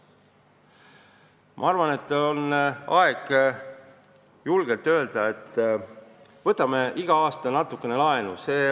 Ma arvan, et on aeg julgelt öelda, et võtame iga aasta natukene laenu.